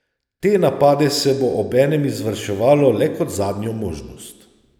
Te napade se bo obenem izvrševalo le kot zadnjo možnost.